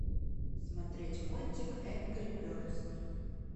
смотреть мультик энгри бердс